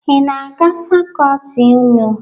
Ị na-aga fakọọti unu?